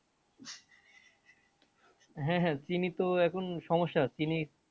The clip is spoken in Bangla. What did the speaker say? হ্যাঁ হ্যাঁ চিনি তো এখন সমস্যা চিনি